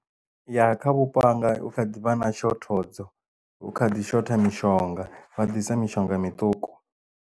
Ya kha vhupo hanga hukha ḓivha na shothodzo hu kha ḓi shotha mishonga vha ḓisa mishonga miṱuku.